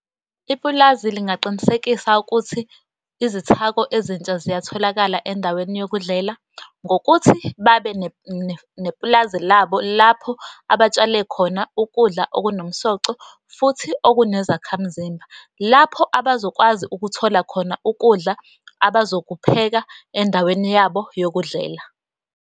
Ipulazi lingaqinisekisa ukuthi izithako ezintsha ziyatholakala endaweni yokudlela ngokuthi babe nepulazi labo, lapho abatshale khona ukudla okunomsoco, futhi okunezakhamzimba, lapho abazokwazi ukuthola khona ukudla abazokupheka endaweni yabo yokudlela.